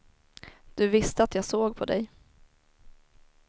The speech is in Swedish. Du visste att jag såg på dig.